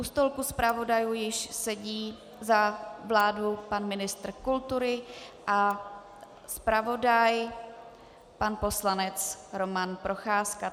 U stolku zpravodajů již sedí za vládu pan ministr kultury a zpravodaj pan poslanec Roman Procházka.